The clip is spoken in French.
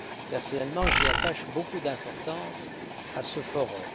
Personnellement, j'attache beaucoup d'importance à ce forum.